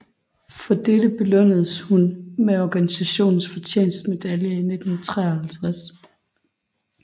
For dette belønnedes hun med organisationens fortjenstmedalje i 1953